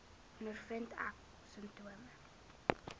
ondervind ek simptome